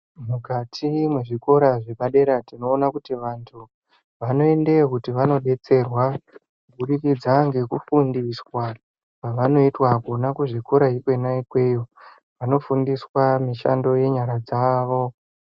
Mukati mwezvikora zvepadera tinoona kuti vantu vanoendeyo kuti vandodetserwa kuburikidza ngekufundiswa Kona kuzvikora ikona ikweyo vanofundiswa mishando yenyara dzavo.